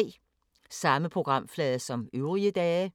Samme programflade som øvrige dage